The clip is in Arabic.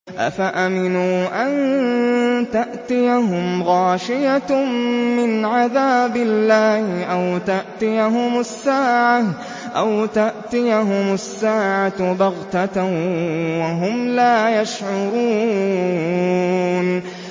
أَفَأَمِنُوا أَن تَأْتِيَهُمْ غَاشِيَةٌ مِّنْ عَذَابِ اللَّهِ أَوْ تَأْتِيَهُمُ السَّاعَةُ بَغْتَةً وَهُمْ لَا يَشْعُرُونَ